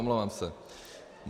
Omlouvám se.